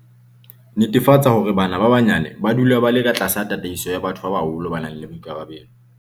Netefatsa hore bana ba banyane ba dula ba le katlasa tataiso ya batho ba baholo ba nang le boikarabelo.